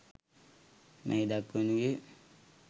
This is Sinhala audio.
මෙහි දැක්වෙනුයේ